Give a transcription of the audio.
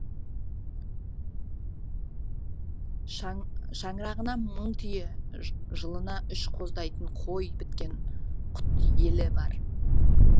шаңырағына мың түйе жылына үш қоздайтын қой біткен құтты елі бар